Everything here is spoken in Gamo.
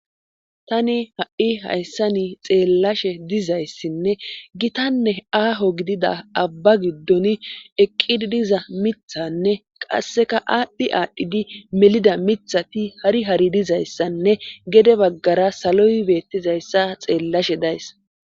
tani ha7i hayssani xeellashe dizayssinne gitanne aaho gidida abba giddon eqqi diza mithanne qasseka aadhdhi aadhdhidi melida mithati hari hari dizayssanne gede baggara saloy beettizayssa xeellashe days